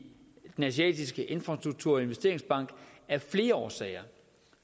den asiatiske infrastrukturinvesteringsbank af flere årsager